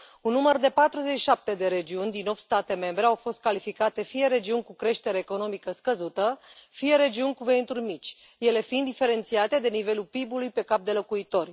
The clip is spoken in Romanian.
Un număr de 47 de regiuni din 8 state membre au fost calificate fie regiuni cu creștere economică scăzută, fie regiuni cu venituri mici, ele fiind diferențiate de nivelul PIB ului pe cap de locuitor.